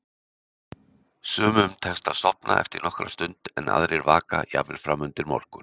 Sumum tekst að sofna eftir nokkra stund en aðrir vaka, jafnvel fram undir morgun.